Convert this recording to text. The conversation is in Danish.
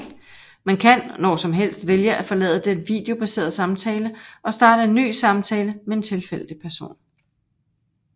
Man kan når som helst vælge at forlade den videobaserede samtale og starte en ny samtale med en tilfældig person